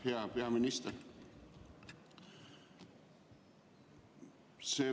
Hea peaminister!